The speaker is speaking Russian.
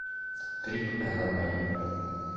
трип элла мэй